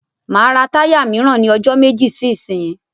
Máa ra táyà míràn ní ọjọ́ méjì sí ìsínyí.